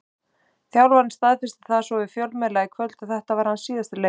Þjálfarinn staðfesti það svo við fjölmiðla í kvöld að þetta væri hans síðasti leikur.